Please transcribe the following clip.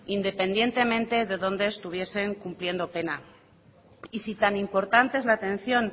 independientemente de donde estuviesen cumpliendo pena y si tan importante es la atención